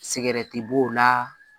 Sɛgɛrɛ ti b'o la